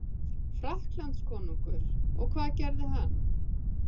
Frakklandskonungur og hvað gerði hann?